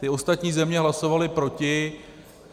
Ty ostatní země hlasovaly proti .